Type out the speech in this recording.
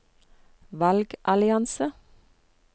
valgallianse